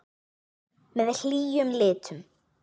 Með hlýjum litum.